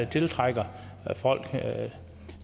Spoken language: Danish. tiltrækker folk